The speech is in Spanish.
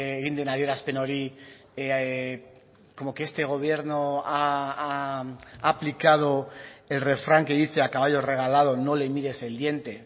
egin den adierazpen hori como que este gobierno ha aplicado el refrán que dice a caballo regalado no le mires el diente